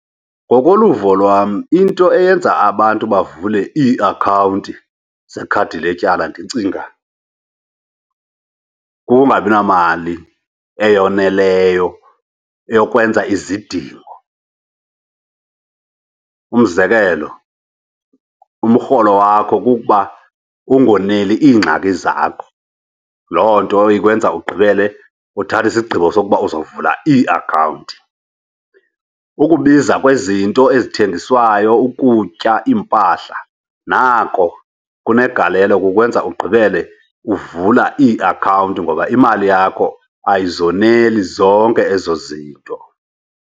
Ngokoluvo lwam into eyenza abantu bavule iiakhawunti zeekhadi letyala ndicinga kukungabi namali eyoneleyo eyokwenza izidingo. Umzekelo umrholo wakho kukuba ungoneli iingxaki zakho, loo nto ikwenza ugqibele uthatha isigqibo sokuba uzawuvula iiakhawunti. Ukubiza kwezinto ezithengiswayo, ukutya, iimpahla nako kunegalelo kukwenza ugqibele uvula iakhawunti ngoba imali yakho ayizoneli zonke ezo zinto.